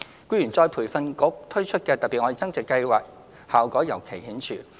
僱員再培訓局推出的"特別.愛增值"計劃，效果尤為顯著。